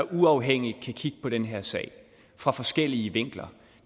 uafhængigt kan kigge på den her sag fra forskellige vinkler